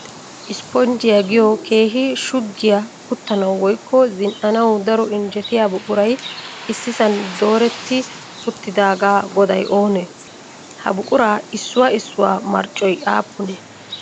"Isiponjjiya" giyoo keehi shuggiya uttanawu woyikko zin'anawu daro injjetiya buquray issisan dooretti uttidaagaa goday oonee? Ha buquraa issuwaa issuwa marccoy aappunee?